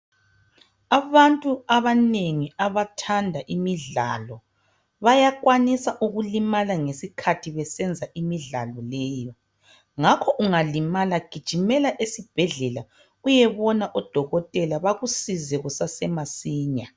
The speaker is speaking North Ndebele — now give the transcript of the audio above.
Abantu abanengi abathanda imidlalo bayakwanisa ukulimala ngesikhathi besenza imidlalo leyi Ngakho ungalimala gijimela esibhedlela uyebona odokotela bakusize kusase masinya